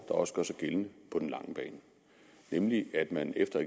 også gør sig gældende på den lange bane nemlig at man efter